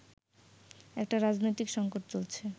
একটা রাজনৈতিক সংকট চলছে